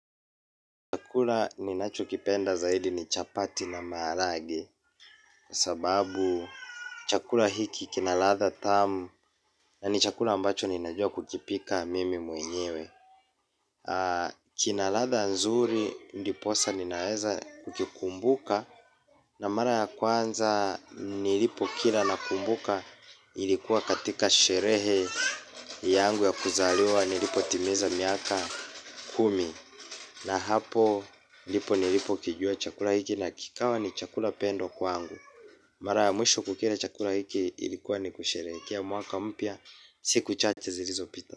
Chakula ninachukipenda zaidi ni chapati na maragwe. Kwa sababu chakula hiki kinaladha tamu. Na ni chakula ambacho ninajua kukipika mimi mwenyewe. Kinaladha nzuri ndiposa ninaweza kukikumbuka. Na mara ya kwanza nilipokila nakumbuka. Ilikuwa katika sherehe yangu ya kuzaliwa nilipo timiza miaka kumi. Na hapo ndipo nilipo kijua chakula hiki na kikawa ni chakula pendo kwaangu. Mara ya mwisho kukila chakula hiki ilikuwa ni kusherehekea mwaka mpya siku chacha zilizo pita.